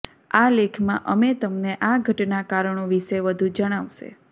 આ લેખમાં અમે તમને આ ઘટના કારણો વિશે વધુ જણાવશે